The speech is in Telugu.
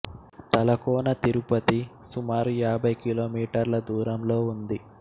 తలకోన తిరుపతి సుమారు యాబై కిలో మీటర్ల దూరంలో ఉంది